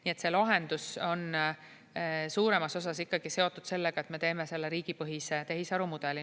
Nii et see lahendus on suuremas osas ikkagi seotud sellega, et me teeme selle riigipõhise tehisarumudeli.